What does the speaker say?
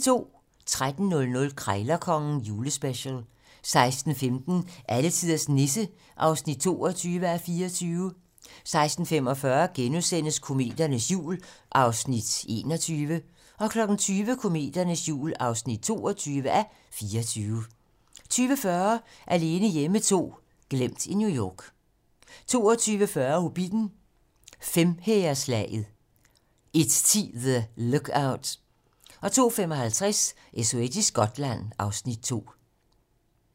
13:00: Krejlerkongen - julespecial 16:15: Alletiders Nisse (22:24) 16:45: Kometernes jul (21:24)* 20:00: Kometernes jul (22:24) 20:40: Alene hjemme 2 - glemt i New York 22:40: Hobbitten: Femhæreslaget 01:10: The Lookout 02:55: SOS i Skotland (Afs. 2)